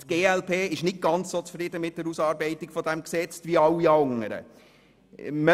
Die glp ist nicht ganz so zufrieden mit der Ausarbeitung dieses Gesetzes wie die meisten anderen Fraktionen.